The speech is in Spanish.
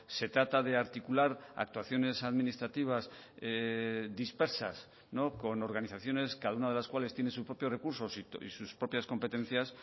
se trata de articular actuaciones administrativas dispersas con organizaciones cada una de las cuales tiene sus propios recursos y sus propias competencias